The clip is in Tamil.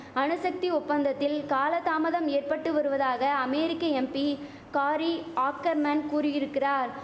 அணுசக்தி ஒப்பந்தத்தில் காலதாமதம் ஏற்பட்டு வருவதாக அமெரிக்க எம்பி காரி ஆக்கர்மேன் கூறியிருக்கிறார்